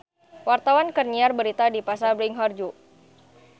Wartawan keur nyiar berita di Pasar Bringharjo